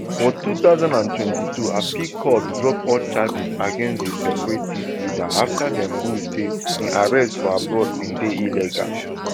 for two thousand and twenty-two appeal court drop all charges against di separatist leader afta dem rule say im arrest abroad bin dey illegal